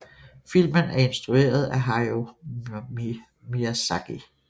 Filmen er instrueret af Hayao Miyazaki